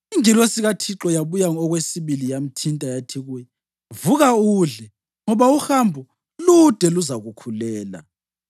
Ingilosi kaThixo yaphinda yabuya okwesibili yamthinta, yathi kuye, “Vuka udle, ngoba uhambo lude luzakukhulela.”